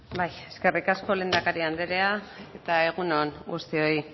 bai eskerrik asko lehendakari andrea eta egun on guztioi